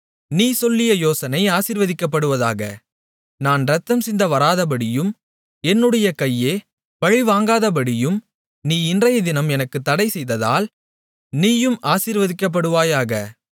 நீ சொல்லிய யோசனை ஆசீர்வதிக்கப்படுவதாக நான் இரத்தம் சிந்த வராதபடியும் என்னுடைய கையே பழிவாங்காதபடியும் நீ இன்றையதினம் எனக்குத் தடைசெய்ததால் நீயும் ஆசீர்வதிக்கப்படுவாயாக